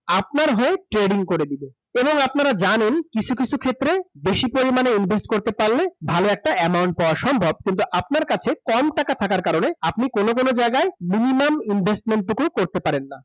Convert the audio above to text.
আপনার হয়ে trading করে দেবে । এবং আপনারা জ্নারা, কিছু কিছু ক্ষেত্রে বেশি পরিমাণে invest করতে পারলে, ভালো একটা amount পাওয়া সম্ভব কিন্তু আপনার কাছে কম টাকা থাকার কারণে আপনি কোন কোন জায়গায় minimum investment টুকুও করতে পারেন না ।